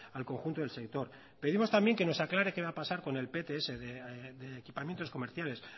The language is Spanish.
al conjunto del sector pedimos también que nos aclare qué va a pasar con el pts de equipamientos comerciales